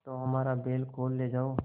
तो हमारा बैल खोल ले जाओ